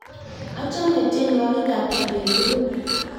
achame tienwokik ab kibet tokol